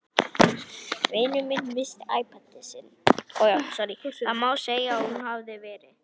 Það má segja að hún hafi verið.